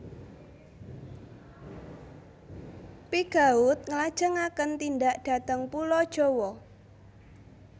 Pigeaud nglajengaken tindak dhateng Pulo Jawa